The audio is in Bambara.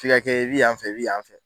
F'i ka kɛ i bɛ yan fɛ i bɛ yan fɛ